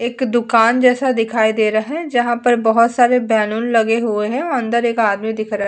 एक दुकान जैसे दिखाई दे रहा है जहाँ पर बहुत सारे बलून लगे हुए है अंदर एक आदमी दिख रहा --